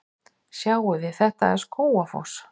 Sjáiði! Þetta er Skógafoss.